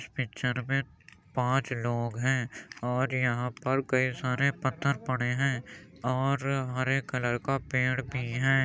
Picture में पाँच लोग हैं और यहां पर कई सारे पत्थर पड़े हैं और हरे कलर का पेड़ भी हैं।